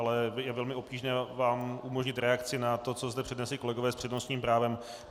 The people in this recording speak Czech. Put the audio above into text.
Ale je velmi obtížné vám umožnit reakci na to, co zde přednesli kolegové s přednostním právem.